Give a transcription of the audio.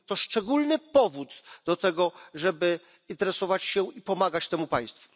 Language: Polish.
To szczególny powód do tego, żeby interesować się i pomagać temu państwu.